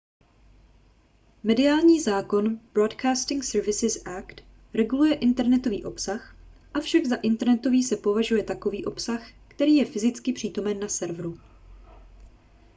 mediální zákon broadcasting services act reguluje internetový obsah avšak za internetový se považuje takový obsah který je fyzicky přítomen na serveru